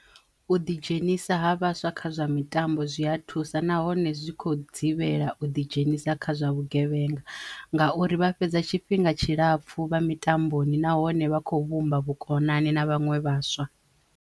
U ḓi dzhenisa ha vhaswa kha zwa mitambo zwi ya thusa nahone zwi khou dzivhela u ḓi dzhenisa kha zwa vhugevhenga ngauri vha fhedza tshifhinga tshilapfu vha mitamboni nahone vha khou vhumba vhukonani na vhanwe vhaswa.